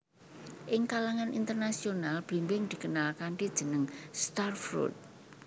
Ing kalangan internasional blimbing dikenal kanthi jeneng star fruit